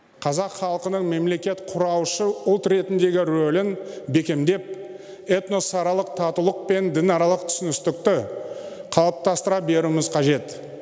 қазақ халқының мемлекет құраушы ұлт ретіндегі рөлін бекемдеп этносаралық татулық пен дінаралық түсіністікті қалыптастыра беруіміз қажет